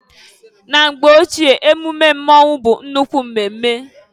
Na mgbe ochie mmemme mmonwu bụ nnukwu emume.